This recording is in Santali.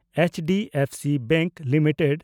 HDFC bank limited